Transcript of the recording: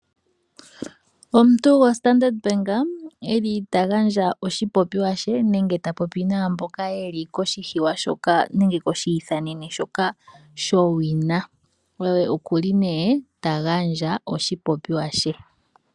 Omuntu goStandard bank eli tagandja oshipopiwa she nenge tapopi naamboka yeli koshihiwa shoka nenge koshi ithanene shoka sho wina. Oye okuli ne tagandja oshipopiwa she .